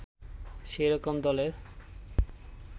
সে রকম দলের